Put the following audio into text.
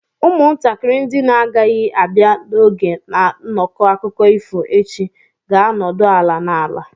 Ụmụntakịrị ndị na-agaghị abịa n'oge na nnọkọ akụkọ ifo echi ga-anọdụ ala n'ala.